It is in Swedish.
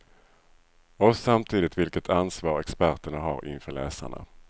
Och samtidigt vilket ansvar experterna har inför läsarna.